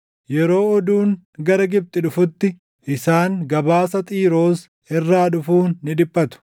Yeroo oduun gara Gibxi dhufutti isaan gabaasa Xiiroos irraa dhufuun ni dhiphatu.